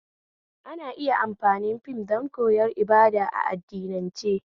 Ana iya amfani fim don koyar ibada a addinance